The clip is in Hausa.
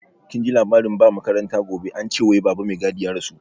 Kinji labarin ba makaranta gobe, ance wai baba mai gadi ya rasu?